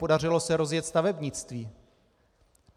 Podařilo se rozjet stavebnictví.